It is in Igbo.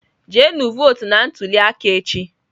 Jenu votu na ntuli aka echi!.